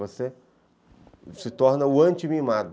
Você se torna o anti-mimado.